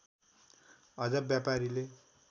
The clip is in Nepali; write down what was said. अझ व्यापारीले